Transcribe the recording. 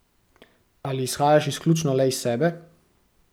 Ali izhajaš izključno le iz sebe?